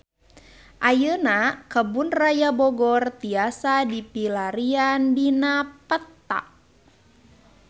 Ayeuna Kebun Raya Bogor tiasa dipilarian dina peta